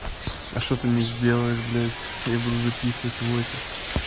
а что ты не сделаешь блядь я буду записывать войсы